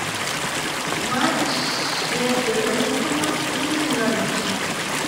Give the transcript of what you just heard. матч между тоттенхэмом и норвичем